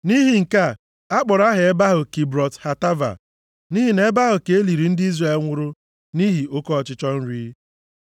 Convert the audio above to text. Nʼihi nke a, a kpọrọ aha ebe ahụ Kibrọt Hataava, nʼihi na nʼebe ahụ ka e liri ndị Izrel nwụrụ nʼihi oke ọchịchọ nri.